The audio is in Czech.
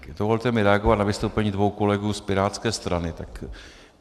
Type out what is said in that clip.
Dovolte mi reagovat na vystoupení dvou kolegů z pirátské strany.